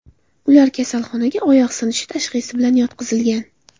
Ular kasalxonaga oyoq sinishi tashxisi bilan yotqizilgan.